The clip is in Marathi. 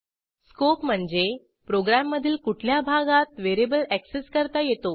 स्कोप म्हणजे प्रोग्रॅममधील कुठल्या भागात व्हेरिएबल ऍक्सेस करता येतो